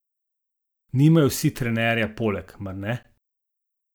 Nimajo vsi trenerja poleg, mar ne?